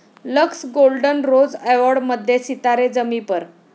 Lux golden rose अॅवाॅर्ड'मध्ये सितारे जमी पर!